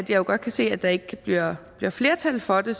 jo godt kan se at der ikke bliver flertal for det